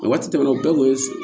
A waati tɛmɛna o bɛɛ kun ye so